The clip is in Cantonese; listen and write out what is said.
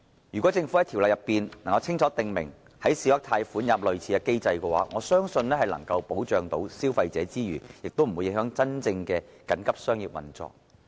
如果政府在條例中就小額貸款清楚訂明類似機制，我相信在保障消費者之餘，並不會影響真正的緊急商業運作。